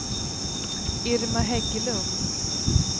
Irma Hägglund